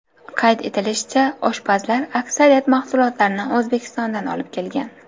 Qayd etilishicha, oshpazlar aksariyat mahsulotlarni O‘zbekistondan olib kelgan.